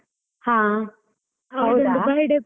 ಹಾ .